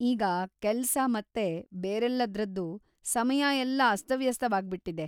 ಈಗ ಕೆಲ್ಸ ಮತ್ತೆ ಬೇರೆಲ್ಲದ್ರದ್ದೂ ಸಮಯ ಎಲ್ಲ ಅಸ್ತವ್ಯಸ್ತವಾಗ್ಬಿಟ್ಟಿದೆ.